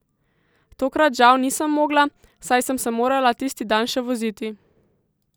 Tokrat žal nisem mogla, saj sem se morala tisti dan še voziti.